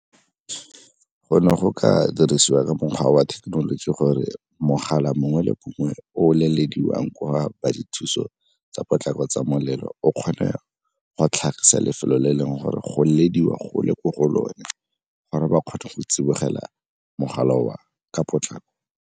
Go ne go ka dirisiwa ka mokgwa wa thekenoloji gore mogala mongwe le mongwe o lelediwang ko ba dithuso tsa potlako tsa molelo, o kgone go tlhagisa lefelo le e leng gore go latediwa go le ko go lone gore ba kgone go tsibogela mogala oo ka potlako.